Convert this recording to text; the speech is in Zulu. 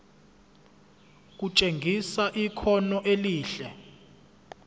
kutshengisa ikhono elihle